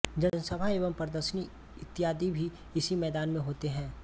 जनसभा एवं प्रदर्शनी इत्यादि भी इसी मैदान में होते हैं